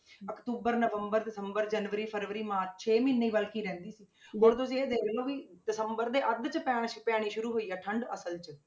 October ਨਵੰਬਰ ਦਸੰਬਰ ਜਨਵਰੀ ਫਰਵਰੀ ਮਾਰਚ ਛੇ ਮਹੀਨੇ ਬਲਕਿ ਰਹਿੰਦੀ ਸੀ ਹੁਣ ਤੁਸੀਂ ਇਹ ਦੇਖ ਲਓ ਵੀ ਦਸੰਬਰ ਦੇ ਅੱਧ 'ਚ ਪੈਣਾ ਪੈਣੀ ਸ਼ੁਰੂ ਹੋਈ ਆ ਠੰਢ ਅਸਲ 'ਚ,